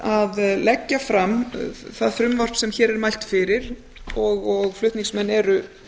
að leggja fram það frumvarp sem hér er mælt fyrir og frá eru